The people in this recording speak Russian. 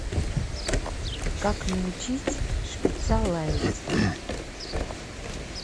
как научить шпица лаять